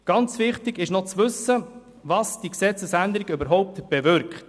Ganz wichtig zu wissen ist, was diese Gesetzesänderung überhaupt bewirkt.